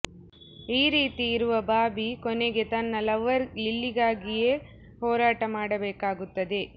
ಈ ರೀತಿ ಇರುವ ಬಾಬಿ ಕೊನೆಗೆ ತನ್ನ ಲವರ್ ಲಿಲ್ಲಿಗಾಗಿಯೇ ಹೋರಾಟ ಮಾಡಬೇಕಾಗುತ್ತದೆ